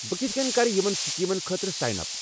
بہٕ کِتھہٕ کٔنۍ کرٕ یِمَن سکیٖمَن خٲطرٕ سایِن اپ؟